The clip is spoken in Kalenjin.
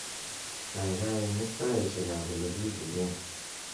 kaigai imis taisiek abolegiburen